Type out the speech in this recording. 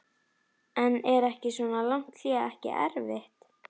En er svona langt hlé ekki erfitt?